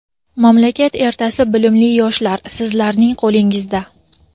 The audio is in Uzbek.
Mamlakat ertasi bilimli yoshlar - sizlarning qo‘lingizda.